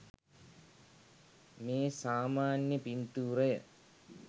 මේ සාමාන්‍ය පිංතූරය